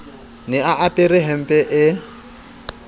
ne a apara hempe e